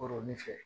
Kɔrɔ ni fɛ